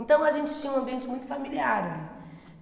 Então a gente tinha um ambiente muito familiar ali.